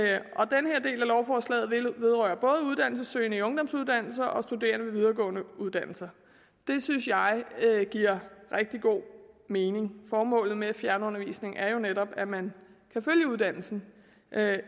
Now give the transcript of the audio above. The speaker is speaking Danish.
lovforslaget vedrører både uddannelsessøgende i ungdomsuddannelser og studerende ved videregående uddannelser det synes jeg giver rigtig god mening formålet med fjernundervisning er jo netop at man kan følge uddannelsen